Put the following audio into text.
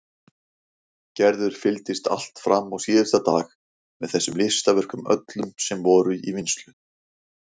Gerður fylgdist allt fram á síðasta dag með þessum listaverkum öllum sem voru í vinnslu.